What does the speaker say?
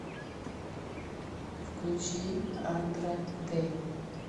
включи андра дэй